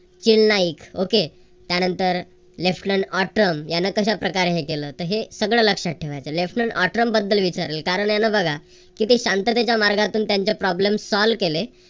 खील Naik okay त्यानंतर यान कश्या प्रकारे हे केलं. तर हे सगळं लक्ष्यात ठेवायचं. बद्दल विचारेल कारण बघा किती शांततेच्या मार्गातून त्यांचे problemsolve केले